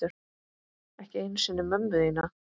Ekki einu sinni mömmu þína.